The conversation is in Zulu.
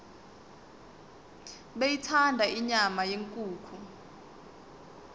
beyithanda inyama yenkukhu